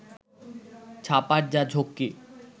ছাপার যা ঝক্কি